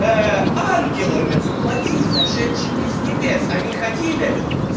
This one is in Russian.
ангелами воплоти сошедшими с небес они ходили